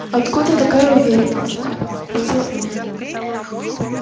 откуда такая уверенность спросил он